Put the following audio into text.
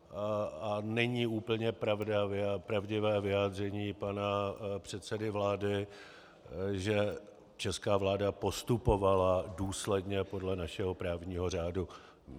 A není úplně pravdivé vyjádření pana předsedy vlády, že česká vláda postupovala důsledně podle našeho právního řádu.